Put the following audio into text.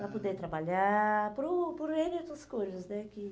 Para poderem trabalhar, por o por ene e outras coisas, né? Que